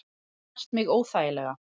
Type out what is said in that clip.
Snart mig óþægilega.